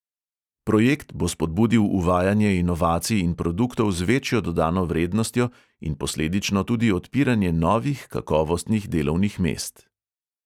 Projekt bo spodbudil uvajanje inovacij in produktov z večjo dodano vrednostjo in posledično tudi odpiranje novih kakovostnih delovnih mest.